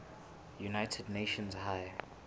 united nations high